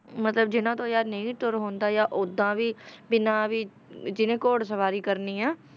ਮਤਲਬ ਜਿੰਨਾਂ ਤੋਂ ਯਾਰ ਨਹੀਂ ਵੀ ਤੁਰ ਹੁੰਦਾ ਜਾਂ ਓਦਾਂ ਵੀ ਬਿਨਾਂ ਵੀ ਜਿਹਨੇ ਘੋੜ ਸਵਾਰੀ ਕਰਨੀ ਆਂ,